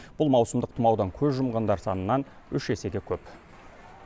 бұл маусымдық тұмаудан көз жұмғандар санынан үш есеге көп